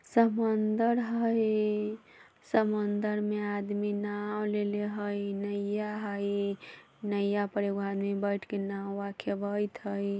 समंदर हई समंदर में आदमी नाव लेले हई नइया हई नइया पर एगो आदमी बैठ के नावा खेवेएत हई।